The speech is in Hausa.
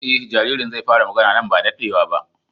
E jaririn zai fara magana nan ba da daɗewa ba.